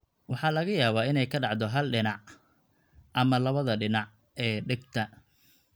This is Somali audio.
Waxa laga yaabaa inay ka dhacdo hal dhinac (hal dhinac) ama labada dhinac (labada dhinac) ee dhegta.